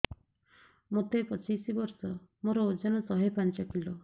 ମୋତେ ପଚିଶି ବର୍ଷ ମୋର ଓଜନ ଶହେ ପାଞ୍ଚ କିଲୋ